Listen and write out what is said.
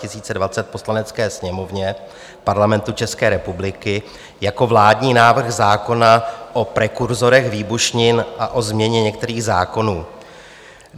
Poslanecké sněmovně Parlamentu České republiky jako vládní návrh zákona o prekurzorech výbušnin a o změně některých zákonů.